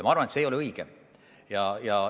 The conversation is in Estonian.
Ma arvan, et see ei ole õige.